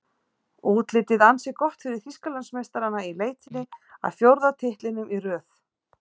Útlitið ansi gott fyrir Þýskalandsmeistarana í leitinni að fjórða titlinum í röð.